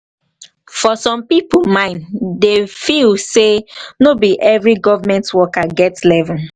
for some pipo mind dem feel mind dem feel sey no be every government worker get level